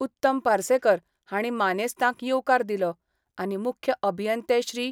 उत्तम पार्सेकर हांणी मानेस्तांक येवकार दिलो आनी मुख्य अभियंते श्री.